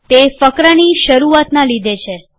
તે ફકરાની શરૂઆતનાં લીધે છે